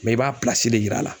i b'a de yira a la.